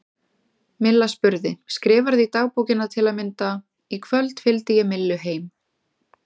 Milla spurði: Skrifarðu í dagbókina til að mynda: Í kvöld fylgdi ég Millu heim?